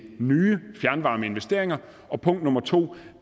nye fjernvarmeinvesteringer 2